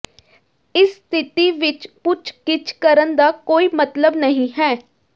ਇਸ ਸਥਿਤੀ ਵਿਚ ਪੁੱਛਗਿੱਛ ਕਰਨ ਦਾ ਕੋਈ ਮਤਲਬ ਨਹੀਂ ਹੈ